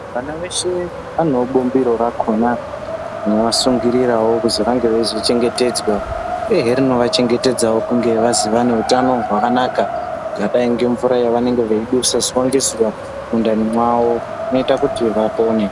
Vana veshe vanewo bumbiro rakona rinosungirirawo kuzi vange veizochengetedzwa uyehe rinovachengetedzawo kunge vazi vaneutano hwakanaka. Zyakadai ngemvura yavanenge veidusa zuva ngezuva mundani mwavo inoita kuti vapone